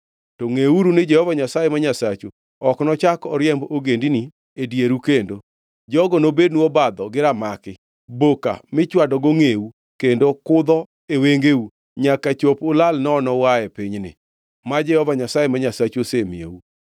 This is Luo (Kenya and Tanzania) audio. to ngʼeuru ni Jehova Nyasaye ma Nyasachu ok nochak oriemb ogendini e dieru kendo. Jogo nobednu obadho gi ramaki, boka mi chwadogo ngʼeu, kendo kudho e wengeu, nyaka chop ulal nono uae pinyni, ma Jehova Nyasaye ma Nyasachu osemiyou.